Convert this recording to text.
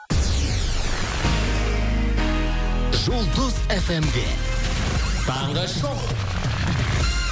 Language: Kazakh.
жұлдыз эф эм де таңғы шоу